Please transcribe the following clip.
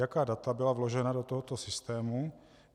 Jaká data byla vložena do tohoto systému?